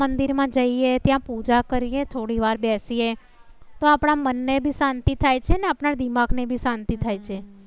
મંદિર માં જઈએ ત્યાં પૂજા કરીએ. થોડીવાર બેસીએ તો આપણા મનને બી શાંતિ થાય છે. આપણા દિમાગ ની શાંતિ થાય છે